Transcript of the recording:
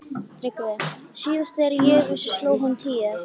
TRYGGVI: Síðast þegar ég vissi sló hún tíu.